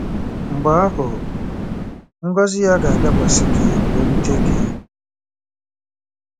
Mgbe ahụ, ngọzi ya “ga-abịakwasị gị wee rute gị.”